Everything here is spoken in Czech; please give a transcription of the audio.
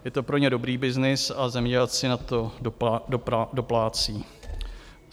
Je to pro ně dobrý byznys a zemědělci na to doplácí.